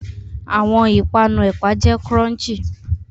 Awọn ipanu ẹpa jẹ crunchy